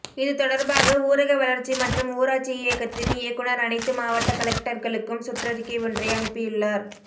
இது தொடர்பாக ஊரக வளர்ச்சி மற்றும் ஊராட்சி இயக்ககத்தின் இயக்குநர் அனைத்து மாவட்ட கலெக்டர்களுக்கும் சுற்றறிக்கை ஒன்றை அனுப்பியுள்ளார்